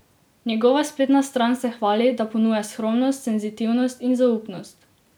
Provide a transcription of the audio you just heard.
Njegova spletna stran se hvali, da ponuja skromnost, senzitivnost in zaupnost.